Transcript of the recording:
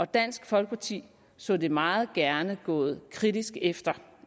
dansk folkeparti så det meget gerne gået kritisk efter